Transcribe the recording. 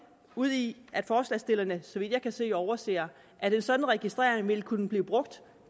ude i at forslagsstillerne så vidt jeg kan se overser at en sådan registrering vil kunne blive brugt